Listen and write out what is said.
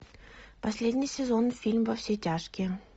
последний сезон фильм во все тяжкие